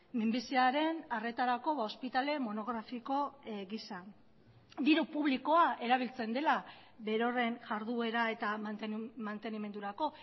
minbiziaren arretarako ospitale monografiko gisa diru publikoa erabiltzen dela berorren jarduera eta mantenimendurako